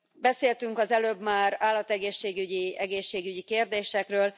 Beszéltünk az előbb már állategészségügyi, egészségügyi kérdésekről.